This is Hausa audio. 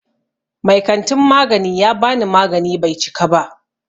Mai kantin magani ya bani magani Bai cika ba.